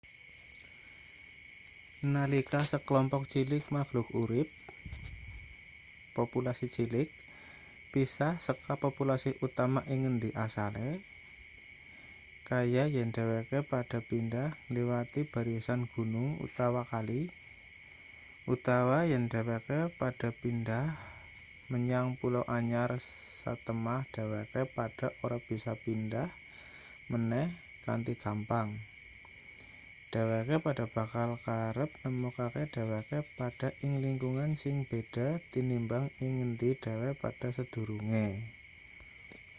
nalika sekelompok cilik makhluk urip populasi cilik pisah seka populasi utama ing ngendi asale kaya yen dheweke padha pindhah ngliwati barisan gunung utawa kali utawa yen dheweke padha pindhah menyang pulau anyar satemah dheweke padha ora bisa pindhah meneh kanthi gampang dheweke padha bakal kerep nemokake dheweke padha ing lingkungan sing beda tinimbang ing ngendi dheweke padha sadurunge